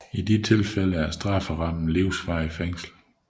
I sådanne tilfælde er strafferammen livsvarigt fængsel